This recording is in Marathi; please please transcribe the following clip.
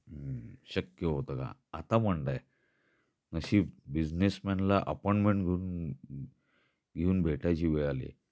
हम्म शक्य होता का. आता म्हणता आहे. नशीब बिझनेस मॅनला अपॉईंटमेंट घेऊन भेटायची वेळ आली आहे.